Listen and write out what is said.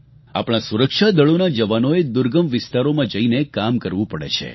આપણા સુરક્ષાદળોના જવાનોને દુર્ગમ વિસ્તારોમાં જઈને કામ કરવું પડે છે